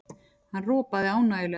Hann ropaði ánægjulega.